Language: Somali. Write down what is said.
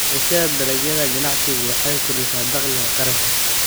Beerashada dalagyada ganacsigu waxay kordhisaa dakhliga qaranka.